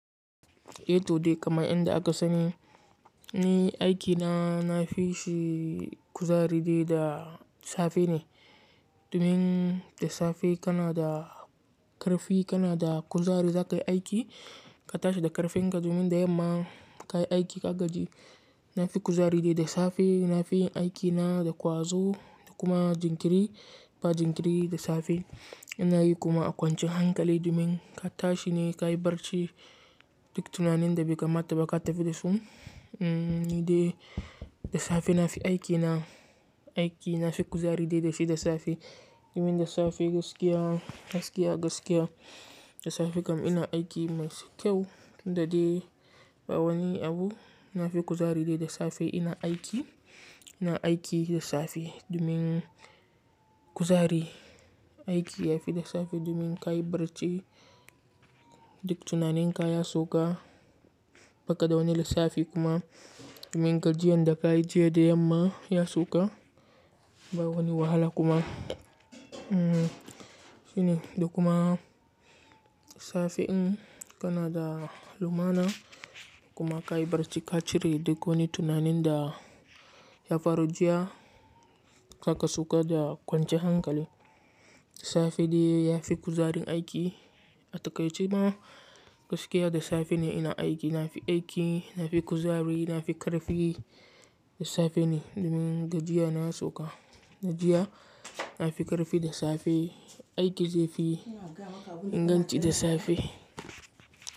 Eh to dai kamar inda aka sani, ni aikina na fishi kuzari dai da safe ne. Domin da safe kana da ƙarfi, kana da kuzari za ka yi aiki, ka tashi da ƙarfin ka domin da yamma ka yi aiki ka gaji. Na fi kuzari dai da safe, na fi aikina da ƙwazo da kuma jinkiri, ba jinkiri da safe. Na yi kuma a kwanciyan hankali domin ka tashi ne ka yi barci duk tunanin da bai kamata ba ka tafi da su. Mm dai da safe na fi aikina, aiki na fi kuzari dai da shi da safe. Domin da safe gaskiya, gaskiya, gaskiya da safe kam ina aiki mai kyau, tun da dai ba wani abu. Na fi kuzari dai da safe ina aiki, ina aiki da safe domin kuzari, aiki ya fi da safe domin ka yi barci duk tunaninka ya sauka, ba ka da wani lissafi kuma. Domin gajiyan da ka yi jiya da yamma ya sauka, ba wani wahala kuma. Mm shine, da kuma safe in kana da lumana kuma ka yi barci ka cire duk wani tunanin da ya faru jiya, haka suka da kwance hankali. Safe dai ya fi kuzarin aiki. A takaice ma gaskiya da safe ne ina aiki. Na fi aiki, na fi kuzari, na fi ƙarfi, da safe ne domin gajiyana suka. Da jiya na fi ƙarfi da safe, aiki zai fi inganci da safe.